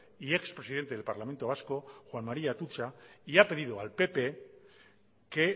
y ex presidente del parlamento vasco juan maría atutxa y ha pedido al pp que